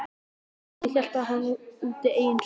Að auki hélt hann úti eigin sjón